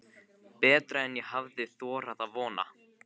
Betra en ég hafði þorað að vona